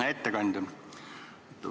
Hea ettekandja!